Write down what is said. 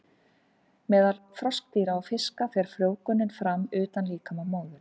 Meðal froskdýra og fiska fer frjóvgunin fram utan líkama móður.